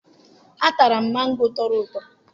Atara m mango tọrọ ụtọ